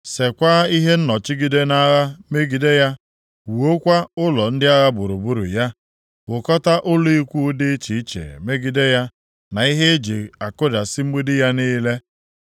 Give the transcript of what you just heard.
Seekwa ihe nnọchigide nʼagha megide ya, wuokwa ụlọ ndị agha gburugburu ya, wukọta ụlọ ikwu dị iche iche megide ya na ihe e ji akụdasị mgbidi ya niile.